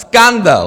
Skandál!